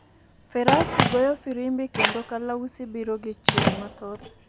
Ferasi goyo firimbi kwndo kalausi biro gi chir mathoth .